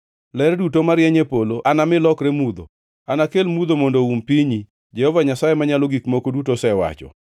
Ler duto marieny e polo anami lokreni mudho; anakel mudho mondo oum pinyi, Jehova Nyasaye Manyalo Gik Moko Duto osewacho.